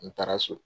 N taara so